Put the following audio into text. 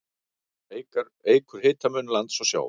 Það eykur hitamun lands og sjávar.